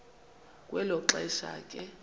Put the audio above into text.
kwelo xesha ke